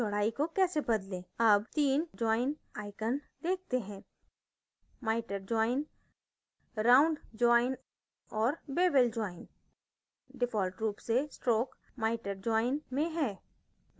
अब 3 join icons देखते हैं miter join round join और bevel join default रूप से stroke miter join में है